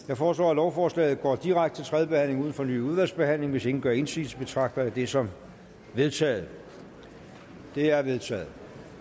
jeg foreslår at lovforslaget går direkte til tredje behandling uden fornyet udvalgsbehandling hvis ingen gør indsigelse betragter jeg det som vedtaget det er vedtaget